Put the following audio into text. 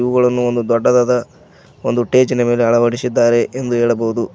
ಹೂಗಳನ್ನು ಒಂದು ದೊಡ್ಡದಾದ ಒಂದು ಟೇಜಿನ ಮೇಲೆ ಅಳವಡಿಸಿದ್ದಾರೆ ಎಂದು ಹೇಳಬಹುದು.